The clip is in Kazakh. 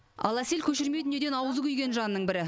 ал әсел көшірме дүниеден аузы күйген жанның бірі